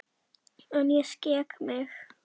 En ég skek mig.